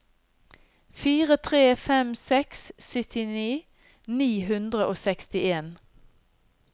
fire tre fem seks syttini ni hundre og sekstien